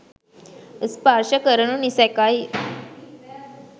ස්පර්ශ කරනු නිසැකයි